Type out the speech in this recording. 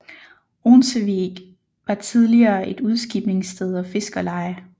Onsevig var tidligere et udskibningssted og fiskerleje